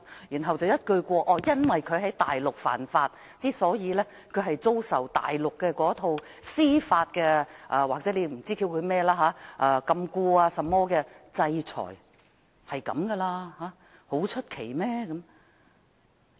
然後有人又斷言由於林榮基在大陸犯法，故他要遭受大陸那套所謂司法禁錮或制裁，屬正常不過的事，並沒有甚麼奇怪。